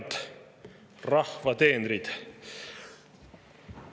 Head rahva teenrid!